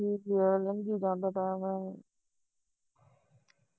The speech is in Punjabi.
ਠੀਕ ਈ ਆ ਲੰਘੀ ਜਾਂਦਾ time